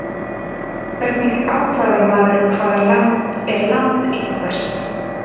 Hvernig ákvarðar maður hvaða land er land einhvers?